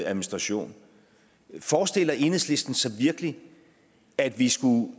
administration forestiller enhedslisten sig virkelig at vi skulle